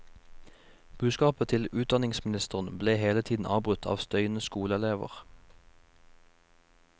Budskapet til utdanningsministeren ble hele tiden avbrutt av støyende skoleelever.